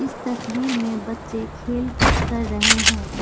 तस्वीर में बच्चे खेलकूद कर रहे हैं।